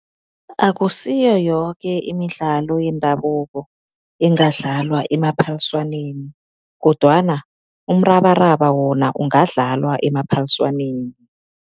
Akusiyo yoke imidlalo yendabuko engadlalwa emaphaliswaneni kodwana umrabaraba wona ungadlalwa emaphaliswaneni.